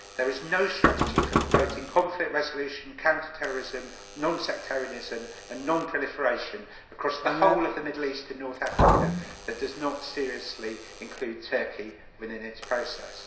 There is no strategy for promoting conflict resolution, counter terrorism, non sectarianism and non proliferation across the whole of the Middle East and North Africa that does not seriously include Turkey within its process.